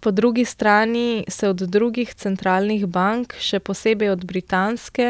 Po drugi strani se od drugih centralnih bank, še posebej od britanske,